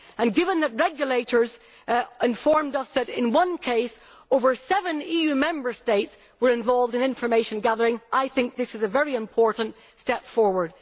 Given that regulators have informed us that in one case more than seven EU Member States were involved in information gathering, I think this is a very important step forward.